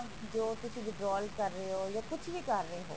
ਜੋ ਤੁਸੀਂ withdraw ਕਰ ਰਹੇ ਹੋ ਜਾ ਕੁੱਛ ਵੀ ਕਰ ਰਹੇ ਹੋ